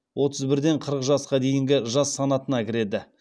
отыз бірден қырық жасқа дейінгі жас санатына кіреді